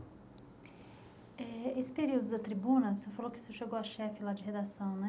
Eh... Nesse período da tribuna, o senhor falou que chegou a chefe de redação, não é?